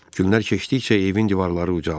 Günlər keçdikcə evin divarları ucalırdı.